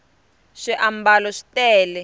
swiambalo swi tele